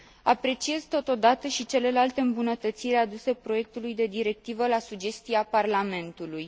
Apreciez totodată și celelalte îmbunătățiri aduse proiectului de directivă la sugestia Parlamentului.